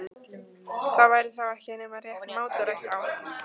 Það væri þá ekki nema rétt mátulegt á hann.